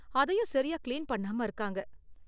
அதையும் சரியா கிளீன் பண்ணாம இருக்காங்க.